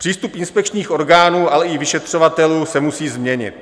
Přístup inspekčních orgánů, ale i vyšetřovatelů se musí změnit.